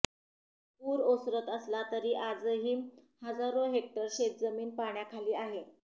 पूर ओसरत असला तरी आजही हजारो हेक्टर शेतजमीन पाण्याखाली आहे